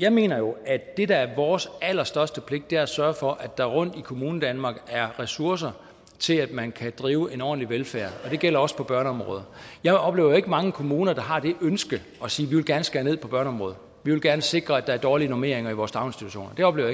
jeg mener jo at det der er vores allerstørste pligt er at sørge for at der rundt i kommunerne i danmark er ressourcer til at man kan drive en ordentlig velfærd og det gælder også på børneområdet jeg oplever ikke mange kommuner der har det ønske og siger vi vil gerne skære ned på børneområdet vi vil gerne sikre at der er dårlige normeringer i vores daginstitutioner det oplever